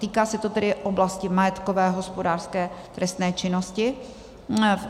Týká se to tedy oblasti majetkové hospodářské trestné činnosti.